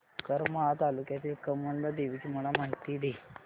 करमाळा तालुक्यातील कमलजा देवीची मला माहिती दे